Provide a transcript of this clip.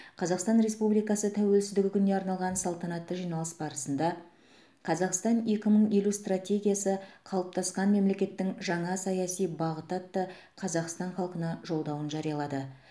қазақстан республикасы тәуелсіздігі күніне арналған салтанатты жиналыс барысында қазақстан екі мың елу стратегиясы қалыптасқан мемлекеттің жаңа саяси бағыты атты қазақстан халқына жолдауын жариялады